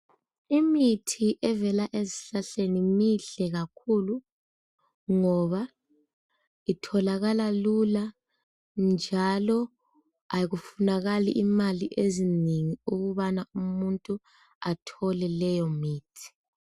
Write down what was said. Imithi evela ezihlahleni mihle kakhulu ngoba itholakala lula, njalo akufunakali imali ezinengi ukubana umuntu athole leyo mithi.